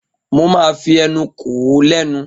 Mo máa fi ẹnu kò ó lẹ́nu.